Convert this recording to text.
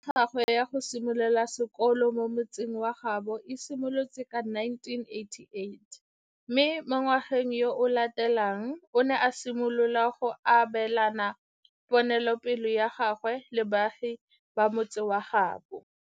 Toro ya gagwe ya go simolola sekolo mo motseng wa gaabo e simolotse ka 1988, mme mo ngwageng yo o latelang o ne a simolola go abelana ponelopele ya gagwe le baagi ba motse wa gaabo.